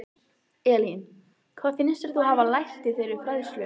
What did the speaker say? Elín: Hvað finnst þér þú hafa lært í þeirri fræðslu?